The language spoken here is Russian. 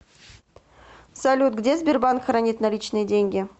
салют где сбербанк хранит наличные деньги